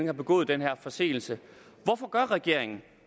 har begået den her forseelse hvorfor gør regeringen